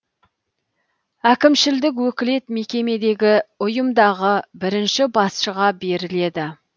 әкімшілдік өкілет мекемедегі ұйымдағы бірінші басшыға беріледі